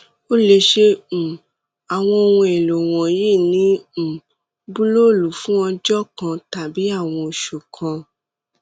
o le ṣe um awọn ohun elo wọnyi ni um bulọọlu fun ọjọ kan tabi awọn oṣu kan